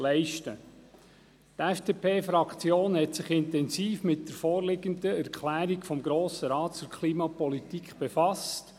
Die FDP-Fraktion hat sich intensiv mit der vorliegenden Erklärung des Grossen Rates zur Klimapolitik befasst.